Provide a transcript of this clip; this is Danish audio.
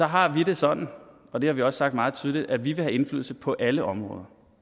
har vi det sådan og det har vi også sagt meget tydeligt at vi vil have indflydelse på alle områder